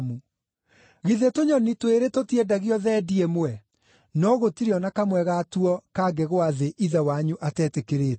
Githĩ tũnyoni twĩrĩ tũtiendagio thendi ĩmwe? No gũtirĩ o na kamwe gatuo kangĩgũa thĩ Ithe wanyu atetĩkĩrĩte.